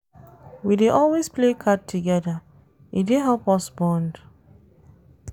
We dey always play card togeda, e dey help us bond.